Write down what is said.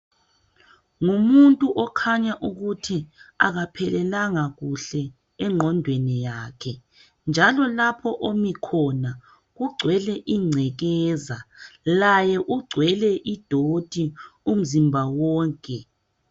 Ngumuntu okhanya ukuthi akaphelelanga kuhle engqondweni yakhe njalo lapho omi khona kugcwele ingcekeza laye ugcwele idoti umzimba wonke.